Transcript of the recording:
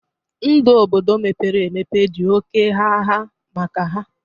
Ndụ Obodo mepere emepe dị oké gha gha maka ha